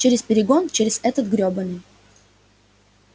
через перегон через этот грёбаный